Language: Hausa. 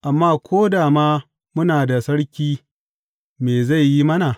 Amma ko da ma muna da sarki, me zai yi mana?